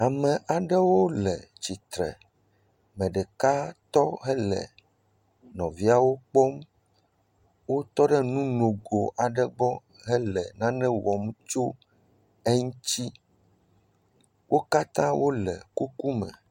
Amewo le tsitre. Me ɖeka tɔ hele nɔviawo kpɔm. Wotɔ ɖe nu nogo aɖe gbɔ hele nane wɔm tso eŋtsi. Wo katã wole kukume